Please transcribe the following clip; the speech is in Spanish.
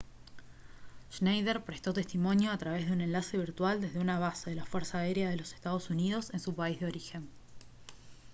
schneider prestó testimonio a través de un enlace virtual desde una base de la fuerza aérea de los estados unidos en su país de origen